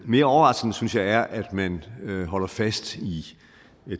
mere overraskende synes jeg det er at man holder fast i